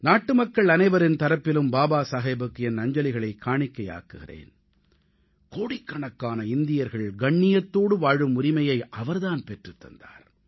நாட்டுமக்கள் அனைவரின் சார்பிலும் பாபா சாஹேபுக்கு என் அஞ்சலிகளைக் காணிக்கையாக்குகிறேன் கோடிக்கணக்கான இந்தியர்கள் கண்ணியத்தோடு வாழும் உரிமையை அவர் தான் பெற்றுத் தந்தார்